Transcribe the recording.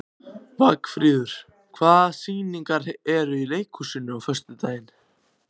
Vagnfríður, hvaða sýningar eru í leikhúsinu á föstudaginn?